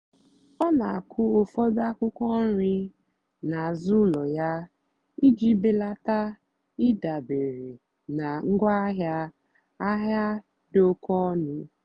ọ́ nà-àkụ́ ụ́fọ̀dụ́ ákwụ́kwọ́ nrì n'àzụ́ ụ́lọ̀ yá ìjì bèlátá ị́dàbérè nà ngwáàhịá àhịá dì óké ónú.